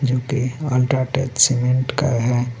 जो की UltraTech cement का है.